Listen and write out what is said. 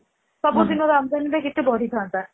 ସବୁଦିନ ଆମଦାନୀ କେତେ ବଢି ଥାଆନ୍ତା